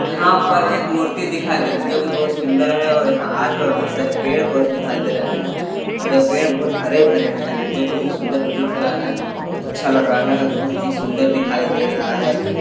यहाँ पर एक मूर्ति दिखाई दे रही हैं जो की बहुत सुंदर है और यहाँ आस - पास बहुत सारे पेड़ पौधे दिखाई दे रहे है और ये पेड़ बहुत हरे - भरे है जो की बहुत सुंदर प्रतीत हो रहा है अच्छा लग रहा है बहुत ही सुंदर दिखाई दे रहा है।